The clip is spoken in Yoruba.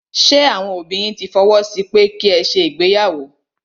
Ṣé àwọn òbí yín tí fọwọ́ sí pẹ́ ki ẹ ṣe ìgbéyàwó?